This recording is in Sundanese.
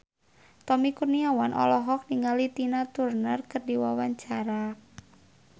Tommy Kurniawan olohok ningali Tina Turner keur diwawancara